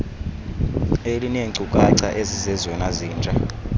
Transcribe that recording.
elineenkcukacha ezizezona zintsha